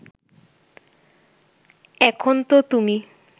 এখন তো তুমি